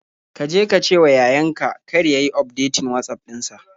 Ka je ka cewa yayan ka kar ya yi ufdetin Watsaf ɗin sa.